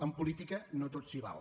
en política no tot s’hi val